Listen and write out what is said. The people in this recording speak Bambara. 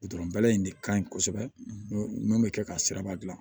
Gudɔrɔn bɛla in de ka ɲi kosɛbɛ mun bɛ kɛ ka siraba gilan